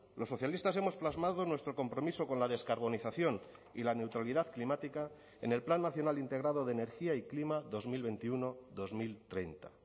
los socialistas hemos plasmado nuestro compromiso con la descarbonización y la neutralidad climática en el plan nacional integrado de energía y clima dos mil veintiuno dos mil treinta